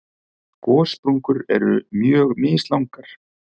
Gossprungur eru mjög mislangar.